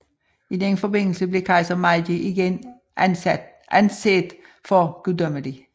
I denne forbindelse blev kejser Meiji igen anset for guddommelig